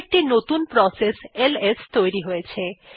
এখন একটি নতুন প্রসেস এলএস তৈরি হয়ছে